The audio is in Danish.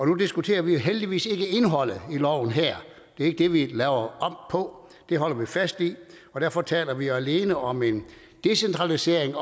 nu diskuterer vi jo heldigvis ikke indholdet i loven her det er ikke det vi laver om på det holder vi fast i og derfor taler vi alene om en decentralisering